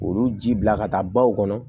Olu ji bila ka taa baw kɔnɔ